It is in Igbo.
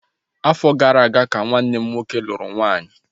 Afọ gara aga ka nwanne m nwoke lụrụ nwaanyị